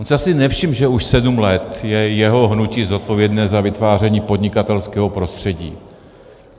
On si asi nevšiml, že už sedm let je jeho hnutí zodpovědné za vytváření podnikatelského prostředí.